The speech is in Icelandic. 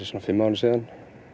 svona fimm árum síðan